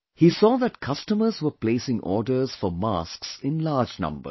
He saw that customers were placing orders for masks in large numbers